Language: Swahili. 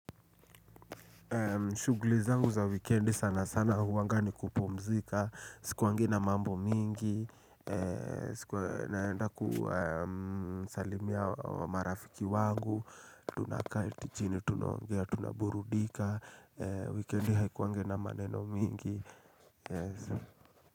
Shugli zangu za wikendi sana sana huanga ni kupumzika, sikuwangi na mambo mingi, naenda kusalimia marafiki wangu, tunaketi chini, tunaongea tunaburudika, wikendi haikuwangi na maneno mingi.